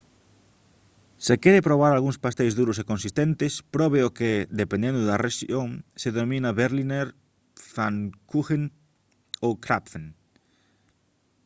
se quere probar algúns pasteis duros e consistentes probe o que dependendo da rexión se denomina berliner pfannkuchen ou krapfen